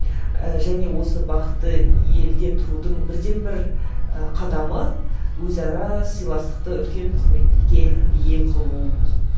ііі және осы бақытты елде тұрудың бірден бір і қадамы өзара сыйластықты үлкен құрметке ие қылу